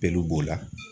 Peluw b'o la